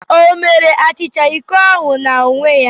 O mere achicha iko ahụ n'onwe ya?